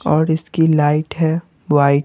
और इसकी लाइट है वाइट --